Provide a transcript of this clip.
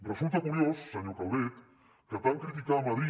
resulta curiós senyor calvet que tant criticar a madrid